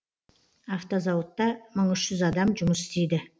автозауытта мың үш жүз адам жұмыс істейді